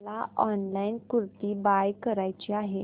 मला online kurti buy करायची आहे